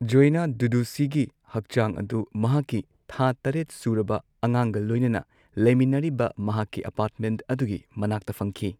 ꯖꯣꯑꯦꯅ ꯗꯨꯗꯨꯁꯤꯒꯤ ꯍꯛꯆꯥꯡ ꯑꯗꯨ ꯃꯍꯥꯛꯀꯤ ꯊꯥ ꯇꯔꯦꯠ ꯁꯨꯔꯕ ꯑꯉꯥꯡꯒ ꯂꯣꯏꯅꯅ ꯂꯩꯃꯤꯟꯅꯔꯤꯕ ꯃꯍꯥꯛꯀꯤ ꯑꯄꯥꯔꯠꯃꯦꯟꯠ ꯑꯗꯨꯒꯤ ꯃꯅꯥꯛꯇ ꯐꯪꯈꯤ꯫